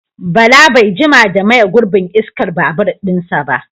Bala bai jima da maye gurbin iskar babur ɗinsa ba